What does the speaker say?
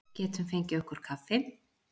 Getum fengið okkur kaffi?